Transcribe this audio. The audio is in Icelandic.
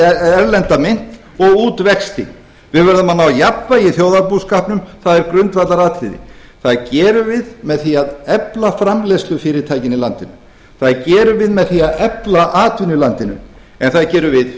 erlenda mynt og út vexti við verðum að ná jafnvægi í þjóðarbúskapnum það er grundvallaratriði það gerum við með því að efla framleiðslufyrirtækin í landinu það gerum við með því að efla atvinnu í landinu en það gerum við